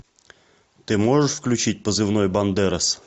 ты можешь включить позывной бандерас